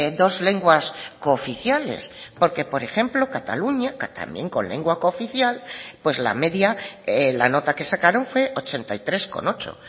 dos lenguas cooficiales porque por ejemplo cataluña también con lengua cooficial pues la media la nota que sacaron fue ochenta y tres coma ocho